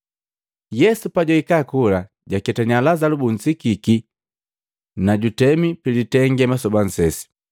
Yesu pajwahika kola jwaketania Lazalu bunsikiki na jutemi pilitenge masoba nsesi.